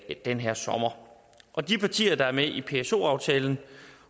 i den her sommer og de partier som er med i pso aftalen